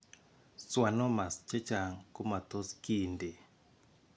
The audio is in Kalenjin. Schwannomas chechang' komatos kiinti.